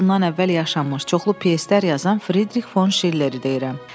Yüz il bundan əvvəl yaşamış, çoxlu pyeslər yazan Fridrix fon Şilleridirəm.